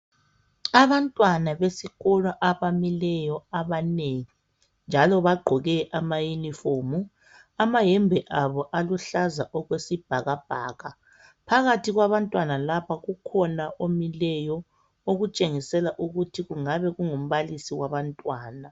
Abantwana besikolo abamileyo abanengi, njalo bagqoke amayunifomu. Amayembe abo aluhlaza okwesibhakabhaka. Phakathi kwabantwana laba kukhona omileyo, okutshengisela ukuthi kungabe kungumbalisi wabantwana.